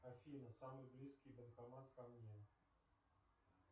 афина самый близкий банкомат ко мне